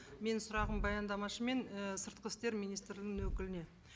менің сұрағым баяндамашы мен і сыртқы істер министрінің өкіліне